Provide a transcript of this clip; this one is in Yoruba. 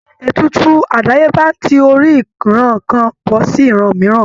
Ètùtù àdáyébá ń ti orí ìran kan bọ́ sí ìran mìíràn